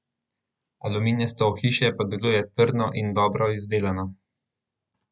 Aluminijasto ohišje pa deluje trdno in dobro izdelano.